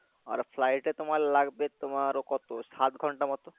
আর flight এ তোমার লাগবে তোমার কত সাত ঘন্টার মতো